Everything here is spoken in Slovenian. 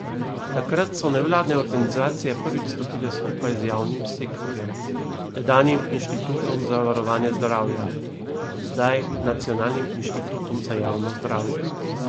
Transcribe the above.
Takrat so nevladne organizacije prvič stopile skupaj z javnim sektorjem, tedanjim Inštitutom za varovanje zdravja, zdaj Nacionalnim inštitutom za javno zdravje.